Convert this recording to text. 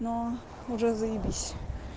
но уже заебись